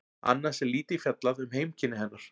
Annars er lítið fjallað um heimkynni hennar.